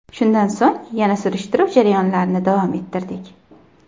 Shundan so‘ng, yana surishtiruv jarayonlarini davom ettirdik.